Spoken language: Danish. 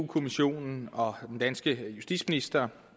kommissionen og den danske justitsminister